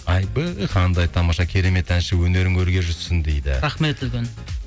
айбей қандай тамаша керемет әнші өнерің өрге жүзсін дейді рахмет үлкен